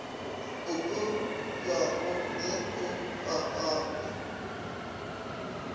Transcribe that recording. e pomipwago ge go bapatpwa